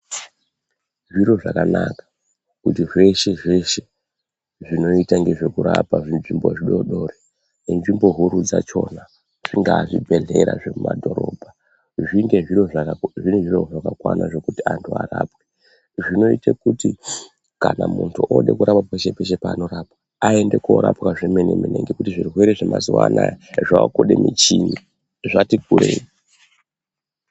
Zviro zvakanaka kuti zveshe zveshe zvinoita ngezvekurapa zvinzvimbo zvidoodori nenzvimbo huru dzachona zvingaa zvibhedhlera zvemumadhorobha zvinge zvine zviro zvakakwana zvekuti antu arapwe zvinoite kuti kana muntu oode kurapwa peshe peshe paanoda kurapwa aende koorapwa zvemene mene ngekuti zvirwere zvemazuwa anaa zvakude michini zvati kurei.